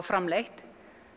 framleitt